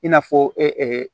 I n'a fɔ